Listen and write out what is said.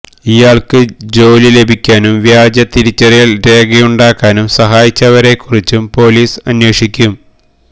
ഇയാൾക്ക് ജോലി ലഭിക്കാനും വ്യാജ തിരിച്ചറിയൽ രേഖയുണ്ടാക്കാനും സഹായിച്ചവരെക്കുറിച്ചും പൊലീസ് അന്വേഷിക്കും